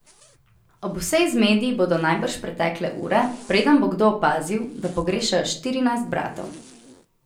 Ob vsej zmedi bodo najbrž pretekle ure, preden bo kdo opazil, da pogrešajo štirinajst bratov.